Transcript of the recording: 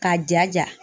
K'a jaja